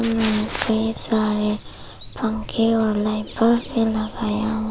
बहुत सारे पंखे और लाइट बल्ब भी लगाया हुआ--